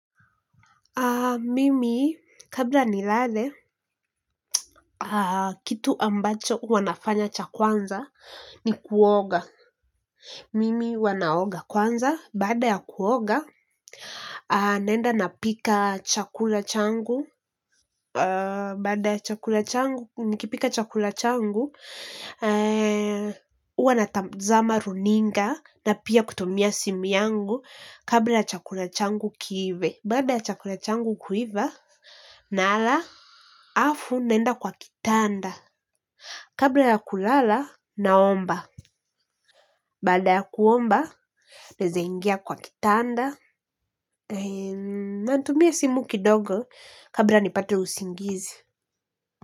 Mimi, kabla nilale, kitu ambacho huwa nafanya cha kwanza ni kuoga. Mimi huwa naoga kwanza, baada ya kuoga, naenda napika chakula changu. Baada ya chakula changu nikipika chakula changu huwa natazama runinga na pia kutumia simu yangu kabla ya chakula changu kiive baada ya chakula changu kuiva, nala, alafu naenda kwa kitanda. Kabla ya kulala, naomba. Baada ya kuomba, naeza ingia kwa kitanda. Natumia simu kidogo kabla nipate usingizi.